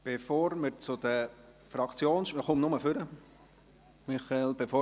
Bevor wir zu den Fraktionssprechenden kommen, begrüsse ich eine Gruppe.